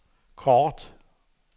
kort